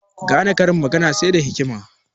Gane karin magana sai da hikima